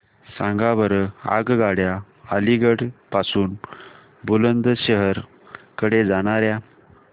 सांगा बरं आगगाड्या अलिगढ पासून बुलंदशहर कडे जाणाऱ्या